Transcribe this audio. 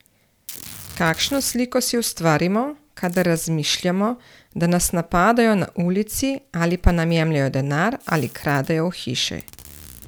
Kakšno sliko si ustvarimo, kadar razmišljamo, da nas napadajo na ulici ali pa nam jemljejo denar ali kradejo v hiši?